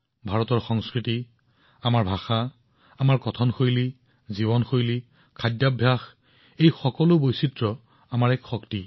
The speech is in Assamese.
ভাৰতৰ সংস্কৃতি আমাৰ ভাষা আমাৰ উপভাষা আমাৰ জীৱন শৈলী খাদ্যৰ সম্প্ৰসাৰণ এই সকলোবোৰ বৈচিত্ৰ্য আমাৰ মহান শক্তি